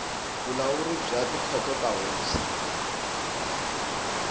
vulawuri bya tikhoto ta tihosi